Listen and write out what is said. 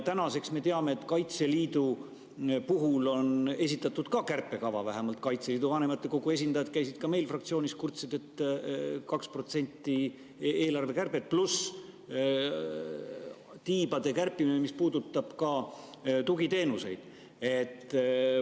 Tänaseks me teame, et Kaitseliidu puhul on esitatud ka kärpekava, vähemalt Kaitseliidu vanematekogu esindajad käisid meil fraktsioonis ja kurtsid, et 2% eelarvekärbet pluss tiibade kärpimine, mis puudutab ka tugiteenuseid.